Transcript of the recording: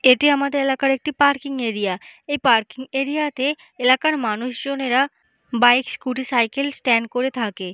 এটি আমাদের এলাকার একটি পার্কিং এরিয়া এ পার্কিং এরিয়াতে এলাকার মানুষ জনেরা বাইক স্কুটি সাইকেল স্ট্যান্ড করে থাকে ।